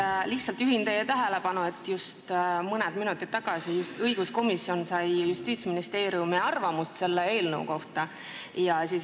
Ma lihtsalt juhin teie tähelepanu sellele, et mõni minut tagasi sai õiguskomisjon Justiitsministeeriumi arvamuse selle eelnõu kohta.